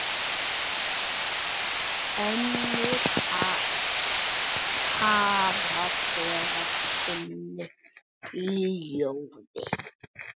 Önnur hafa þagað þunnu hljóði.